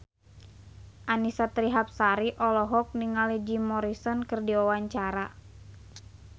Annisa Trihapsari olohok ningali Jim Morrison keur diwawancara